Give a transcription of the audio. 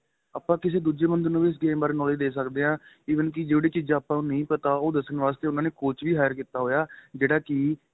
ਆਪਾਂ ਕਿਸੀ ਦੂਜੇ ਬੰਦੇ ਨੂੰ ਵੀ ਇਸ game ਬਾਰੇ knowledge ਦੇ ਸਕਦੇ ਹਾਂ even ਕਿ ਜਿਹੜੀ ਚੀਜਾ ਆਪਾਂ ਨੂੰ ਨਹੀਂ ਪਤਾ ਉਹ ਦੱਸਣ ਵਾਸਤੇ ਉਹਨਾ ਨੇ coach ਵੀ heir ਕੀਤਾ ਹੋਇਆ ਜਿਹੜਾ ਕਿ